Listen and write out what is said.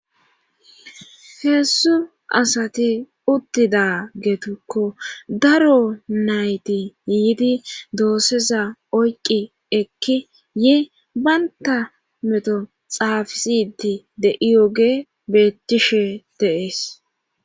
heessu asati uttida geetukko daro nayti yiidi doosseza oyqqi ekki ye baynta meto xaafisiti de7iyoge bettishe deees